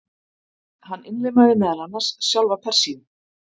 Hann innlimaði meðal annars sjálfa Persíu.